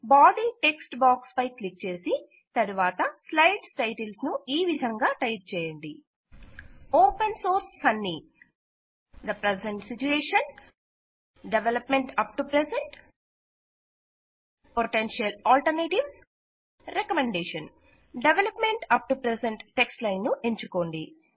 body text box పై click చేసి తరువాతి స్లైడ్స్ టైటిల్స్ ను ఈ విధంగా టైప్ చేయండి open source funny the present situation development up to present potential alternatives recommendation development up to present text line ను ఎంచుకోండి